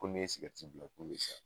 Ko n'i y'i sigɛrɛti bila k'i be sa